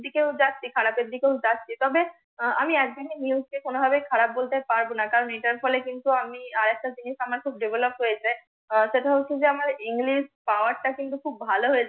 ক্ষতির দিকে যাচ্ছি খারাপের দিকে যাচ্ছি। তবে আমি একদিনের নিয়মকে কোনো ভাবে খারাপ বলতে পারবনা। কারণ এটার ফলে কিন্তু আমার আরেকটা জিনিস আমার খুব DEVELOP হয়েছে, আহ সেটা হচ্ছে যে আমার ENGLISH POWER টা কিন্তু খুব ভাল হয়েছে।